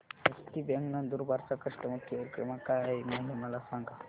हस्ती bank Nandurbar चा customer care क्रमांक काय आहे हे मला सांगा